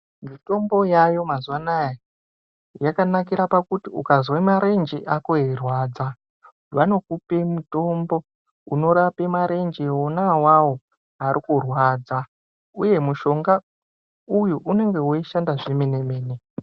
Mitombo yaayo mazuva anaya yakanakira pakuti ukazwa marenje ako eirwadza vanokupe mitombo unorape marenje wona awawo arikurwadza uye mushonga uyu unenge weishanda zvemene mene.